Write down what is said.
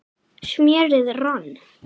smérið rann